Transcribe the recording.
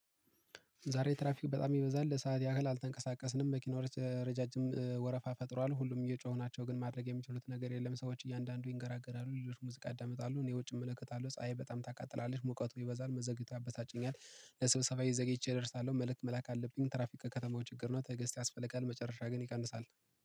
ዛሬ ትራፊክ በጣም ይበዛል። ለሰአት ያህል አልተንቀሳቀስንም። መኪናዎች ረዣዥም ወረፋ ፈጥሯል። ሁሉም እየጮሁ ናቸው፤ ግን ማድረግ የሚችሉት ነገር የለም። ሰዎች እያንዳንዱ ይንገራገራሉ፤ ሌሎች ሙዚቃ ያዳምጣሉ። እኔ ውጭ እመለከታለሁ። ፀሀይ በጣም ታቃጥላለች። ሙቀቱ ይበዛል። መዘግየቱ ያበሳጨኛል። ለስበሰባዬ ዘግይቼ ደርሳለሁ። መልእክት መላክ አለብኝ። ትራፊክ ከከተማው ችግር ነው። ትግስት ያስፈልጋል። መጨረሻ ግን ይቀንሳል።